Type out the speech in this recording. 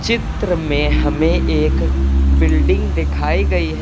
चित्र में हमें एक बिल्डिंग दिखाई गई है।